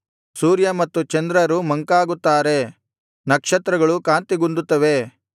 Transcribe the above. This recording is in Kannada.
ಸೂರ್ಯ ಮತ್ತು ಚಂದ್ರರು ಮಂಕಾಗುತ್ತಾರೆ ನಕ್ಷತ್ರಗಳು ಕಾಂತಿಗುಂದುತ್ತವೆ